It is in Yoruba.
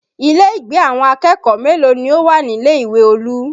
Ilé ìgbé àwọn akẹ́kọ̀ọ́ mélòó ni ó wà nílé ìwé Olú?